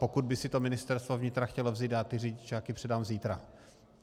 Pokud by si to Ministerstvo vnitra chtělo vzít, já ty řidičáky předám zítra.